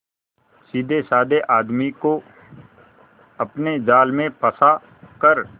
सीधेसाधे आदमी को अपने जाल में फंसा कर